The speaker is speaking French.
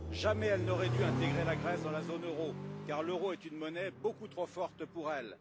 Jamais elle n'aurait dû intégrer la Grèce dans la zone euro, car l'euro est une monnaie beaucoup trop forte pour elle.